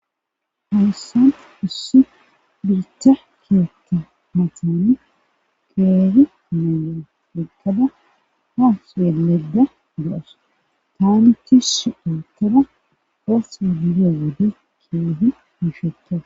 haysan issi biitta keethta matani qeeri na'iya eqada ha xelayda de'awusi go7os taamichi so daatada osa bidiyo wode keehi miisheto